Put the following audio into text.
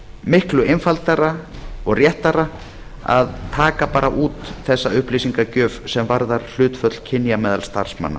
miklu einfaldara og réttara að taka bara út þessa upplýsingagjöf sem varðar hlutföll kynja meðal starfsmanna